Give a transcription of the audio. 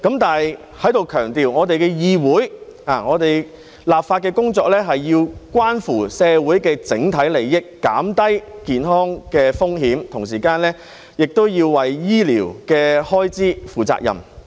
但是，我要在此強調，議會的立法工作須關乎社會的整體利益，減低健康風險，同時也要為醫療開支負責。